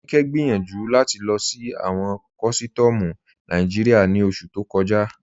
Aníkẹ gbẹ́yànju láti lọ sí awọn kọ̀sítọ̀mù Nàìjíríà ní oṣù tó kọ̀jà.